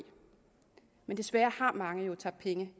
men desværre har mange jo tabt penge